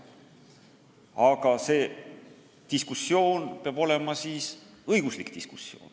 Aga see diskussioon peab olema õiguslik diskussioon.